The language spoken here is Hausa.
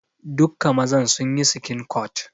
Dukka mazan sun yi skincut.